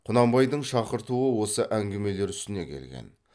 құнанбайдың шақыртуы осы әңгімелер үстіне келген